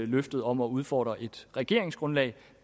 løftet om at udfordre et regeringsgrundlag